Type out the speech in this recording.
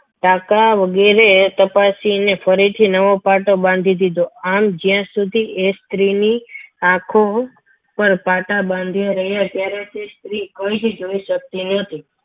આંખ વગેરે તપાસીને ફરીથી નવોપાટો બાંધી દીધો આમ જ્યાં સુધી એ સ્ત્રીની આંખો પર પાટા બાંધ્યા રહ્યા ત્યારે તે સ્ત્રી કંઈ જ જોઈ શકતી ન હતી.